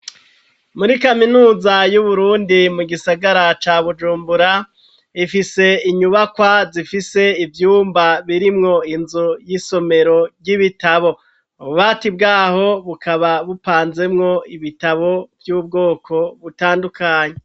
Muri kaminuza yu Burundi mu gisagara ca Bujumbura ifise inyubakwa zifise ivyumba birimwo inzu y'isomero ry'ibitabo ububati bwaho bukaba bupanzemwo ibitabo vy'ubwoko butandukanye.